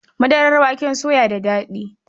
Madarar waken soya da daɗi.